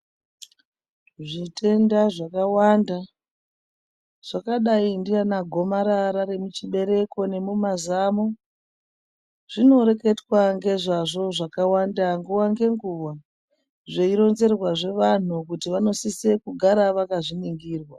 Zvitenda zvakawanda zvakadai ndeana gomarara remuchibereko nemumazamo , zvinoreketwa ngezvazvo zvakawanda nguwa ngenguwa zveironzerwa zve vanhu kuti vanosise kugara vakazviningirwa